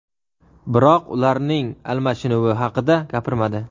biroq ularning almashinuvi haqida gapirmadi.